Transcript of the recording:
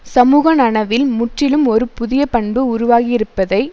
சமூக நனவில் முற்றிலும் ஒரு புதிய பண்பு உருவாகியிருப்பதை